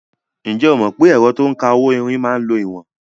Ǹjẹ́ o mọ̀ pé ẹ̀rọ to ń ka owó-onírin máa ń lo ìwọ̀n?